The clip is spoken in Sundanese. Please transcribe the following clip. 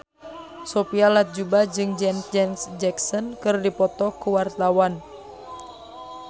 Sophia Latjuba jeung Janet Jackson keur dipoto ku wartawan